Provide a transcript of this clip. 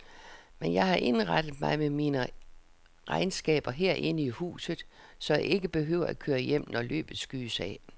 Men jeg har indrettet mig med mine regnskaber herinde i huset, så jeg ikke behøver at køre hjem, når løbet skydes af.